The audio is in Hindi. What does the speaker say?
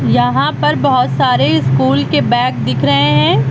यहां पर बहोत सारे स्कूल के बैग दिख रहे हैं।